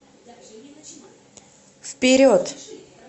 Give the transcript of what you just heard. вперед